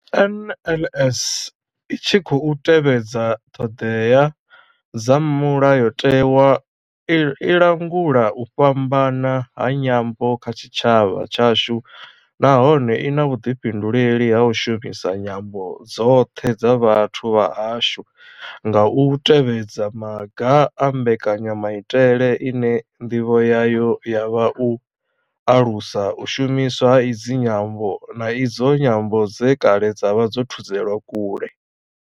NLS I tshi khou tevhedza ṱhodea dza mulayotewa, i langula u fhambana ha nyambo kha tshitshavha tshashu nahone I na vhuḓifhinduleli ha u shumisa nyambo dzoṱhe dza vhathu vha hashu nga u tevhedza maga a mbekanyamaitele ine ndivho yayo ya vha u alusa u shumiswa ha idzi nyambo, na idzo nyambo dze kale dza vha dzo thudzelwa kule.